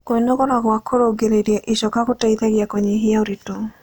Kwĩnogora gwa kũrũngĩrĩrĩa ĩchoka gũteĩthagĩa kũnyĩhĩa ũrĩtũ